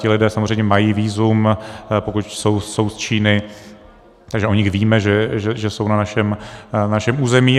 Ti lidé samozřejmě mají vízum, pokud jsou z Číny, takže o nich víme, že jsou na našem území.